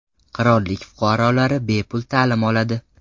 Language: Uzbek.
Qirollik fuqarolari bepul ta’lim oladi.